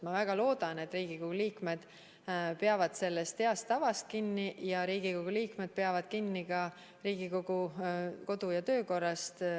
Ma väga loodan, et Riigikogu liikmed peavad kinni heast tavast, samuti Riigikogu kodu- ja töökorrast.